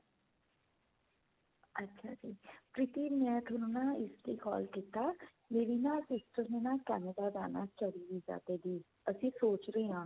ਅੱਛਾ ਜੀ ਪ੍ਰੀਤੀ ਮੈਂ ਥੋਨੂੰ ਨਾ ਇਸ ਲਈ call ਕੀਤਾ ਮੇਰੀ ਨਾ sister ਨੇ ਨਾ Canada ਜਾਣਾ study visa ਤੇ ਜੀ ਅਸੀਂ ਸੋਚ ਰਹੇ ਹਾਂ.